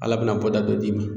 Ala bɛna bɔ da dɔ dimi.